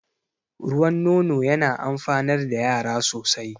Ruwan nono yana amfanar da yara sosai